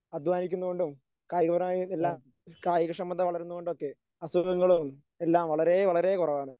അധ്വാനിക്കുന്ന കൊണ്ടും കായികപരമായി എല്ലാം കായികക്ഷമത വളരുന്ന കൊണ്ടുമൊക്കെ അസുഖങ്ങളും എല്ലാം വളരേ വളരേ കുറവാണ്.